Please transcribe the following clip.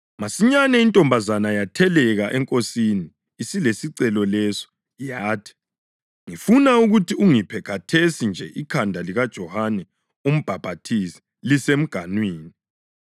Masinyane intombazana yatheleka enkosini isilesicelo leso, yathi: “Ngifuna ukuthi ungiphe khathesi nje ikhanda likaJohane uMbhaphathizi lisemganwini.”